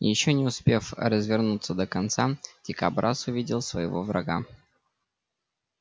ещё не успев развернуться до конца дикобраз увидел своего врага